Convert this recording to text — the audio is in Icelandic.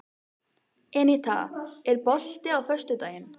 Eníta, er bolti á föstudaginn?